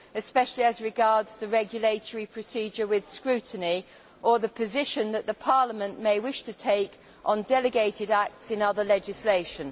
especially as regards the regulatory procedure with scrutiny or the position that the Parliament may wish to take on delegated acts in other legislation.